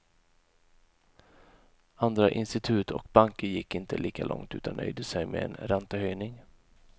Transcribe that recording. Andra institut och banker gick inte lika långt utan nöjde sig med en räntehöjning.